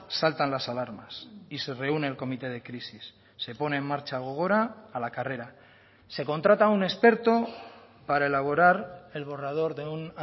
saltan las alarmas y se reúne el comité de crisis se pone en marcha gogora a la carrera se contrata un experto para elaborar el borrador de un